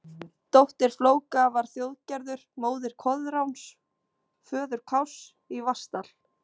Dóttir Flóka var Þjóðgerður, móðir Koðráns, föður Kárs í Vatnsdal.